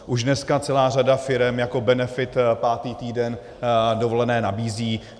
Už dneska celá řada firem jako benefit pátý týden dovolené nabízí.